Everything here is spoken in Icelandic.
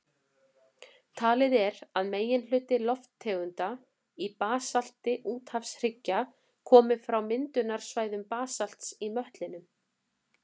Talið er að meginhluti lofttegunda í basalti úthafshryggja komi frá myndunarsvæðum basalts í möttlinum.